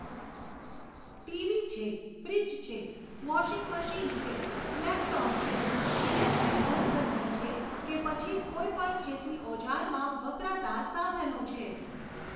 TV છે, fridge છે, washing machine છે, લેપટોપ છે, ઇલેક્ટ્રિક ઘરઘંટી છે કે પછી કોઈપણ ખેતી ઓજારમાં વપરાતાં સાધનો છે.